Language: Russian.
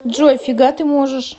джой фига ты можешь